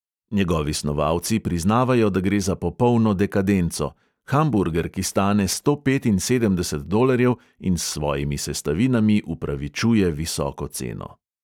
Njegovi snovalci priznavajo, da gre za popolno dekadenco – hamburger, ki stane sto petinsedemdeset dolarjev in s svojimi sestavinami upravičuje visoko ceno.